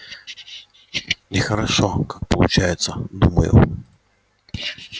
нехорошо как получается думаю